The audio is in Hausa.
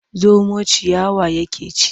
Zomo ciyawa yake ci.